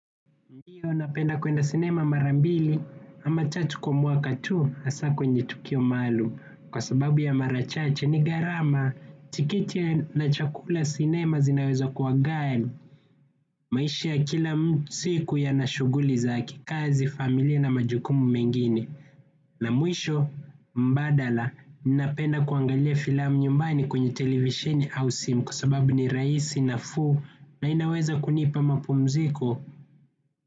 Ndio napenda kuenda sinema mara mbili ama tatu kwa mwaka tu hasa kwenye tukio maalum kwa sababu ya mara chache ni gharama tikiti na chakula ya sinema zinaweza kuwa ghali maisha ya kila siku yana shughuli zake kazi familia na majukumu mengine na mwisho mbadala napenda kuangalia filamu nyumbani kwenye televisheni au simu kwa sababu ni rahisi nafuu na inaweza kunipa mapumziko.